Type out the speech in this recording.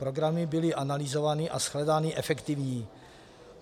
Programy byly analyzovány a shledány efektivními.